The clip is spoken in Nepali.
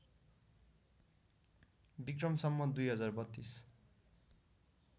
वि सं २०३२